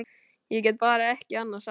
Ég get bara ekki annað sagt.